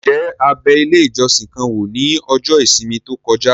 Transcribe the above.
Ǹjẹ́ a bẹ ilé ìjọsìn kan wò ní ọjọ́ ìsinmi tó kọjá?